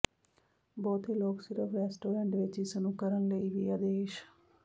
ਬਹੁਤੇ ਲੋਕ ਸਿਰਫ਼ ਰੈਸਟੋਰਟ ਵਿੱਚ ਇਸ ਨੂੰ ਕਰਨ ਲਈ ਵੀ ਆਦੇਸ਼